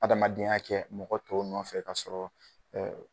Adamadenya kɛ mɔgɔ tɔw nɔfɛ kasɔrɔ